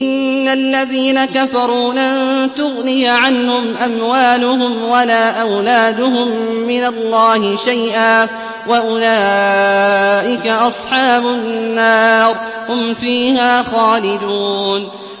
إِنَّ الَّذِينَ كَفَرُوا لَن تُغْنِيَ عَنْهُمْ أَمْوَالُهُمْ وَلَا أَوْلَادُهُم مِّنَ اللَّهِ شَيْئًا ۖ وَأُولَٰئِكَ أَصْحَابُ النَّارِ ۚ هُمْ فِيهَا خَالِدُونَ